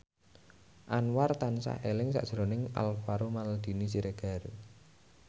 Anwar tansah eling sakjroning Alvaro Maldini Siregar